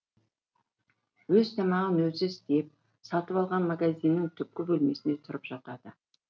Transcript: өз тамағын өзі істеп сатып алған магазиннің түпкі бөлмесінде тұрып жатады